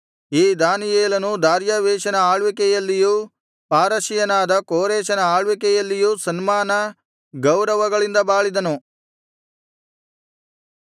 ಈ ದಾನಿಯೇಲನು ದಾರ್ಯಾವೆಷನ ಆಳ್ವಿಕೆಯಲ್ಲಿಯೂ ಪಾರಸಿಯನಾದ ಕೋರೆಷನ ಆಳ್ವಿಕೆಯಲ್ಲಿಯೂ ಸನ್ಮಾನ ಗೌರವಗಳಿಂದ ಬಾಳಿದನು